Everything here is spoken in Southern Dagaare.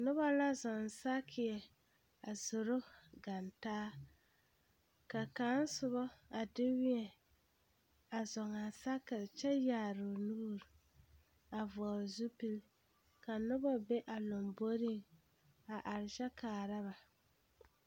Noba la zɔɔ saakeɛ a zoro ɡana taa ka kaŋ soba a de wēɛ a zɔɔ a saakere kyɛ yaare o nuuri a vɔɔle zupili ka noba be a lomboriŋ a are kyɛ kaara ba.